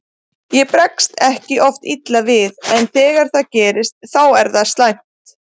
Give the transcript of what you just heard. Ég bregst ekki oft illa við en þegar það gerist þá er það slæmt.